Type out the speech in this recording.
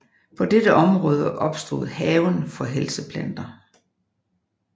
På dette område opstod Haven for helseplanter